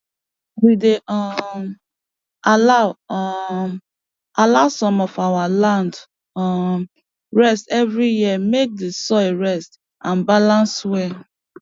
we dey um allow um allow some of our land um rest every year make d soil rest and balance well